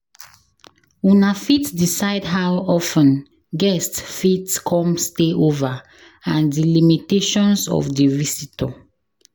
una fit decide how of ten guests fit come stay over and di limitations of di visitor